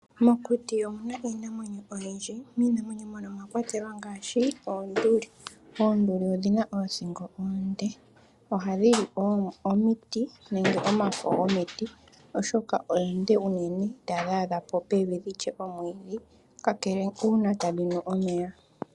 Mokuti omuna iinamwenyo oyindji . Miinamwenyo mono omwa kwatelwa ngaashi oonduli. Onduli odhina oothingo oonde . Ohadhi li omiti nenge omafo gomiti oshoka oonde unene itadhi adha po pevi kakele uuna tadhi nu omeya.